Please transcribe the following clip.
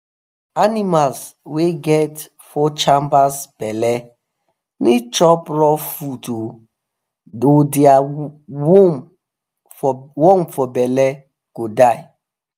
animals wa get four chambers belle need chop rough food or their worm for belle go die